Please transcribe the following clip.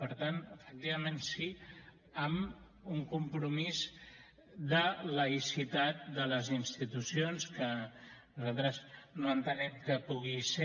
per tant efectivament sí amb un compromís de laïcitat de les institucions que nosaltres no entenem que pugui ser